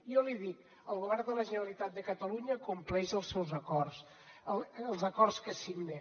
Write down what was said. jo li dic el govern de la generalitat de catalunya compleix els seus acords els acords que signa